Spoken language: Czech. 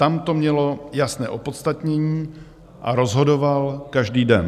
Tam to mělo jasné opodstatnění a rozhodoval každý den.